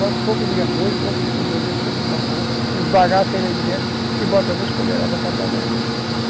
Bota um pouco de arroz, um pouco de feijão dentro, um pouco de macarrão, esbagaça ele aí dentro e bota duas colheradas para cada um.